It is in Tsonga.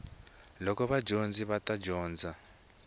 loko vadyondzi va ta dyondza